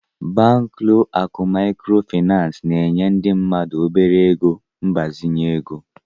Banklọ akụ ego Macro na-enye ndị mmadụ obere ego mgbazinye ego.